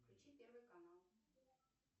включи первый канал